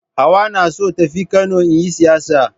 Hauwa na so ta tafi Kano in yi sayayya.